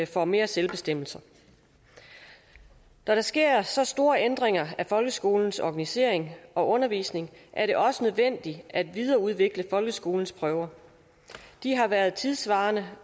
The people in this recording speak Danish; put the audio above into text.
får mere selvbestemmelse når der sker så store ændringer af folkeskolens organisering og undervisning er det også nødvendigt at videreudvikle folkeskolens prøver de har været tidssvarende